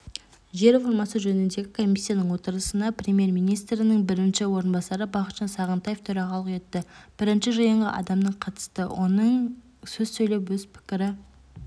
жер реформасы жөніндегі комиссияның отырысына премьер-министрінің бірінші орынбасары бақытжан сағынтаев төрағалық етті бірінші жиынға адамның қатысты оның сөз сөйлеп өз пікірі